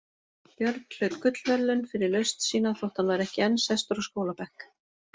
Björn hlaut gullverðlaun fyrir lausn sína þótt hann væri ekki enn sestur á skólabekk.